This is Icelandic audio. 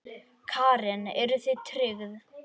Karen: Eruð þið tryggð?